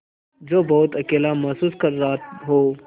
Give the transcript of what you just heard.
जो बहुत अकेला महसूस कर रहा हो